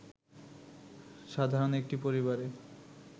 সাধারণ একটি পরিবারে